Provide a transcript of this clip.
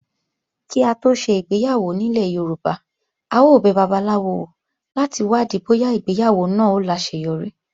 Kí á tó ṣe ìgbéyàwó nílẹ̀ Yorùbá, a ó bẹ babaláwo wò láti wádìí bóyá ìgbéyàwó náà ó láseyọrí.